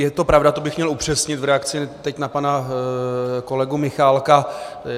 Je to pravda, to bych měl upřesnit v reakci teď na pana kolegu Michálka.